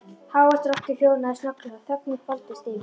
Hávært rokkið hljóðnaði snögglega og þögnin hvolfdist yfir.